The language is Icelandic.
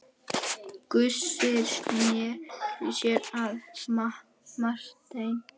Gizur sneri sér að Marteini.